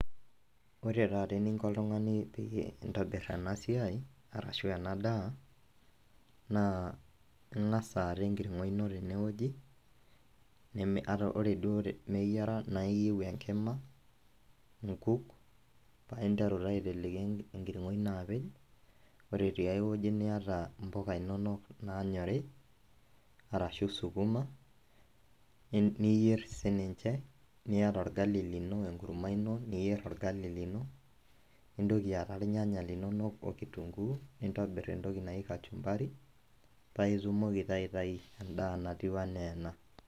Ore taata eniko oltungani peintobir enasiai ashubenadaa naa ingasa aata enkiringo ino tenewueji, na ore nai meyiara neyiau enkima, nkuk, paa interu naa aiteleki enkiringo ino apej, ore tenkai wueji niata mpuka inonok naanyori ashu sukuma niyier sininche, niata orgali lino enkurma ino niyier orgali lino ,nintoki aata irnyanya linonok okitunguu nintobir entoki naji kachumbari paintoki aitau endaa naijo ana ena.